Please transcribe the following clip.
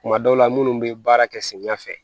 Kuma dɔw la munnu bɛ baara kɛ samiya fɛ